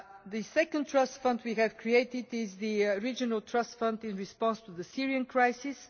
The second trust fund we have created is the Regional Trust Fund in response to the Syrian crisis.